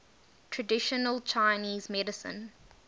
traditional chinese medicine